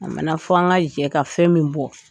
A mana fɔ an ka jɛ ka fɛn min bɔ